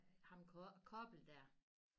Ham Koppel dér